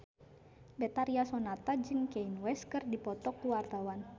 Betharia Sonata jeung Kanye West keur dipoto ku wartawan